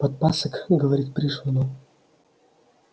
подпасок говорит пришвину